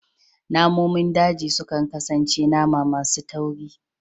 Namomin daji sukan kasance nama masu tauri